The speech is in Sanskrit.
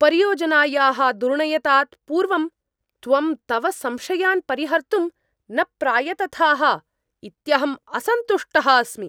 परियोजनायाः दुर्णयतात् पूर्वं त्वं तव संशयान् परिहर्तुं न प्रायतथाः इत्यहम् असन्तुष्टः अस्मि।